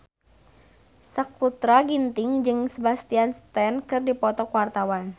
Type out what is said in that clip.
Sakutra Ginting jeung Sebastian Stan keur dipoto ku wartawan